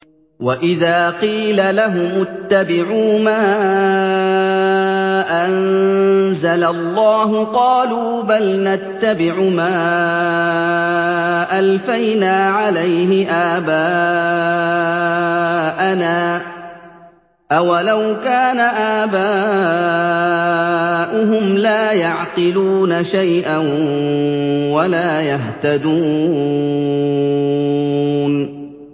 وَإِذَا قِيلَ لَهُمُ اتَّبِعُوا مَا أَنزَلَ اللَّهُ قَالُوا بَلْ نَتَّبِعُ مَا أَلْفَيْنَا عَلَيْهِ آبَاءَنَا ۗ أَوَلَوْ كَانَ آبَاؤُهُمْ لَا يَعْقِلُونَ شَيْئًا وَلَا يَهْتَدُونَ